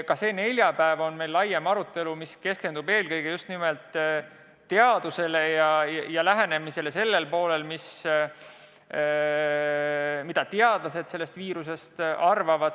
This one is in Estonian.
Ka see neljapäev on meil laiem arutelu, mis keskendub eelkõige teadusele, sellele, mida teadlased sellest viirusest arvavad.